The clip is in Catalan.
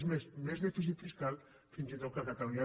és més més dèficit fiscal fins i tot que ca·talunya